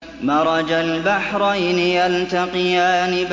مَرَجَ الْبَحْرَيْنِ يَلْتَقِيَانِ